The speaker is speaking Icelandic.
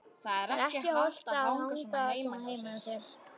Það er ekki hollt að hanga svona heima hjá sér.